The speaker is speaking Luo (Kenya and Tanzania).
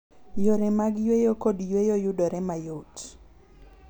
Yore mag yueyo kod yueyo yudore mayot.